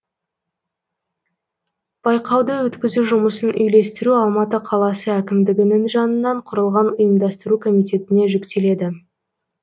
байқауды өткізу жұмысын үйлестіру алматы қаласы әкімідігінің жанынан құрылған ұйымдастыру комитетіне жүктеледі